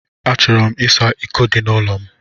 Achọrọ m ịsa iko dị n'ụlọ m.